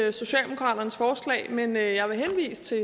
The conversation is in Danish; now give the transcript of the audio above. i socialdemokraternes forslag men jeg vil henvise til